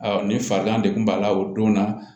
ni farigan de kun b'a la o don na